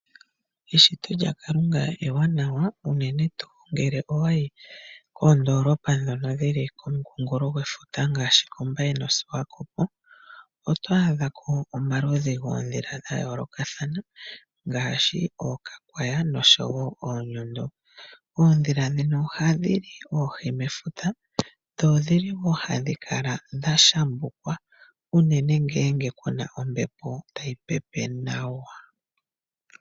Eshito lya kalunga ewanawa uunene tuu ngele owayi koondoolopa dhono dhili komu nkunkulo gwefuta ngaashi komBaye noSwakopo. Otwa adhako omaludhi goodhila gaa yoolokathana. Ngashii ookakwaya noshowo oonyondo. Oodhila dhino oha dhili oohi mefuta dho odhili ha dhikala dha shambukwa uunene ngele kuna ombepo tayipepe nawa.